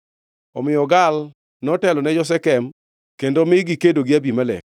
Omiyo Gaal notelo ne jo-Shekem kendo mi gikedo gi Abimelek.